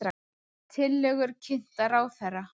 Tillögur kynntar ráðherra